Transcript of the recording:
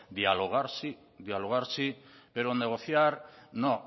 dialogar sí pero negociar no